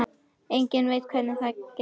Enginn veit hvernig það skeði.